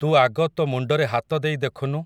ତୁ ଆଗ ତୋ ମୁଣ୍ଡରେ ହାତ ଦେଇ ଦେଖୁନୁ।